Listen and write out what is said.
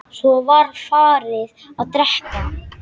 Svo var farið að drekka.